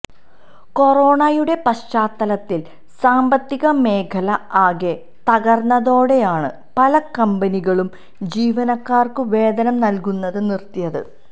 കൊറോണയുടെ പശ്ചാത്തലത്തില് സാമ്പത്തിക മേഖല ആകെ തകര്ന്നതോടെയാണ് പല കമ്പനികളും ജീവനക്കാര്ക്ക് വേതനം നല്കുന്നത് നിര്ത്തിയത്